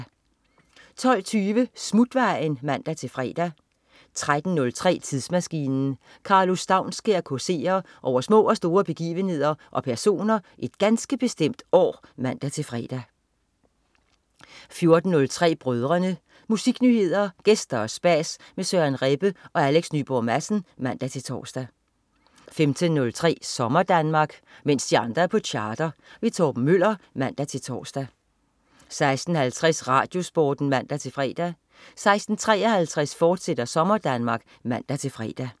12.20 Smutvejen (man-fre) 13.03 Tidsmaskinen. Karlo Staunskær causerer over små og store begivenheder og personer et ganske bestemt år (man-fre) 14.03 Brødrene. Musiknyheder, gæster og spas med Søren Rebbe og Alex Nyborg Madsen (man-tors) 15.03 SommerDanmark. Mens de andre er på charter. Torben Møller (man-tors) 16.50 RadioSporten (man-fre) 16.53 SommerDanmark, fortsat (man-fre)